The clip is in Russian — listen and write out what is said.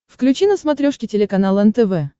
включи на смотрешке телеканал нтв